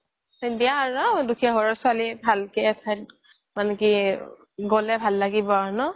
দুখিয়া ঘৰৰ ছোৱালি ভালকে এথাইত মানে কি গ্'লে ভাল লাগিব ন